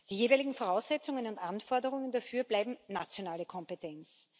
Die jeweiligen Voraussetzungen und Anforderungen dafür bleiben nationale Kompetenz.